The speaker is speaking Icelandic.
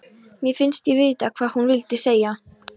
Mér finnst ég vita hvað hún vildi segja.